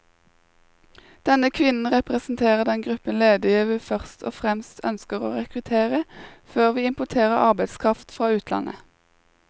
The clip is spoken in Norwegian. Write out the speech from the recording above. Denne kvinnen representerer den gruppen ledige vi først og fremst ønsker å rekruttere, før vi importerer arbeidskraft fra utlandet.